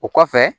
O kɔfɛ